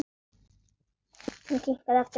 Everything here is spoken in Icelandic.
Hann kinkaði aftur kolli.